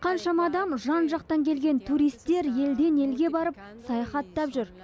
қаншама адам жан жақтан келген туристер елден елге барып саяхаттап жүр